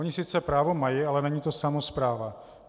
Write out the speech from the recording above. Ony sice právo mají, ale není to samospráva.